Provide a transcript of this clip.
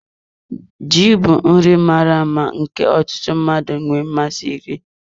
Ji bụ nri mara mma nke ọtụtụ mmadụ na-enwe mmasị iri.